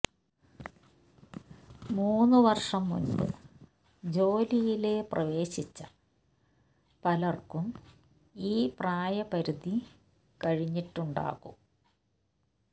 മൂന്നു വര്ഷം മുന്പ് ജോലിയില് പ്രവേശിച്ച പലര്ക്കും ഈ പ്രായ പരിധി കഴിഞ്ഞിട്ടുണ്ടാകും